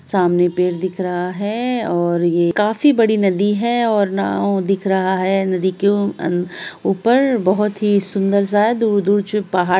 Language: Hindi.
सामने पेड़ दिख रहा है और ये काफी बड़ी नदी है और नाव दिख रहा है| नदी के ऊपर बहुत ही सुन्दर-सा दूर-दूर पहाड़ --